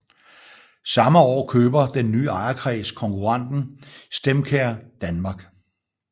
Samme år køber den nye ejerkreds konkurrenten StemCare Danmark